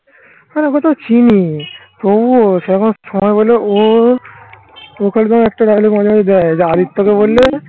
ওকে তো আমি চিনি তবুও সবাই বলে ও ওকে তাও একটা বললে হয় আদিত্য কে বললে